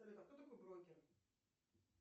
а кто такой брокер